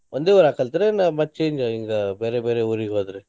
ಒಂದೇ ಊರಾಗ ಕಲ್ತೆರೊ ಏನ ಮತ್ change ಹಿಂಗ ಬ್ಯಾರೆ ಬ್ಯಾರೆ ಊರಿಗ್ ಹೋದ್ರೆ?